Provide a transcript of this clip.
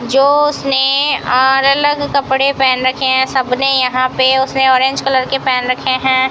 जोश ने और अलग कपड़े पहन रखे हैं सबने यहां पे उसने ऑरेंज कलर के पहन रखे हैं।